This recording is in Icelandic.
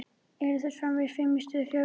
Yrðu þeir framvegis fimm í stað fjögurra?